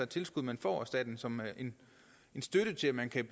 tilskud man får af staten som en støtte til at man kan